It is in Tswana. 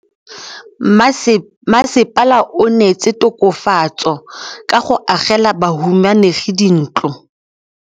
Mmasepala o neetse tokafatsô ka go agela bahumanegi dintlo.